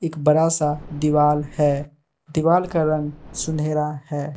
एक बरा सा दीवाल है दीवाल का रंग सुनहरा है।